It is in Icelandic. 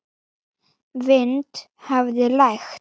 Vind hafði lægt.